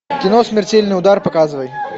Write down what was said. кино смертельный удар показывай